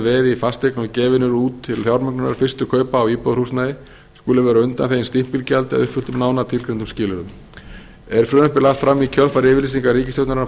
fasteign og gefin eru út til fjármögnunar fyrstu kaupa á íbúðarhúsnæði skuli vera undanþegin stimpilgjaldi að uppfylltum nánar tilgreindum skilyrðum er frumvarpið lagt fram í kjölfar yfirlýsingar ríkisstjórnarinnar frá